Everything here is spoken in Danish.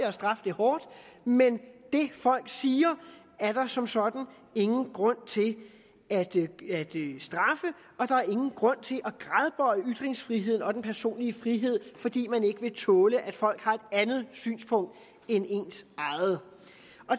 og straf det hårdt men det folk siger er der som sådan ingen grund til at straffe og der er ingen grund til at gradbøje ytringsfriheden og den personlige frihed fordi man ikke vil tåle at folk har et andet synspunkt end ens eget